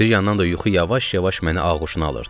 Bir yandan da yuxu yavaş-yavaş məni ağuşuna alırdı.